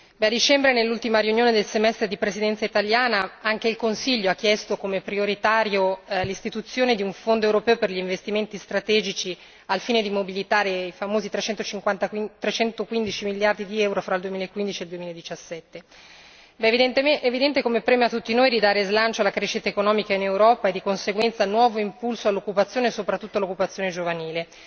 A dicembre, nell'ultima riunione del semestre di Presidenza italiana anche il Consiglio ha chiesto come prioritaria l'istituzione di un Fondo europeo per gli investimenti strategici al fine di mobilitare i famosi 315 miliardi di euro fra il 2015 e il 2017. È evidente come prema a tutti noi di dare slancio alla crescita economica in Europa e, di conseguenza, nuovo impulso all'occupazione, soprattutto all'occupazione giovanile.